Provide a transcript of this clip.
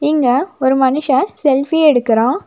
இங்க ஒரு மனுஷ ஃசெல்பி எடுக்குறான்.